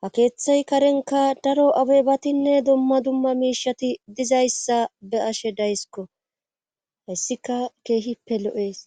ha keeththay karenka daro abebatinne dumma dumma miishati dizayssa be ashe dayskko hayssika keehippe lo'ees.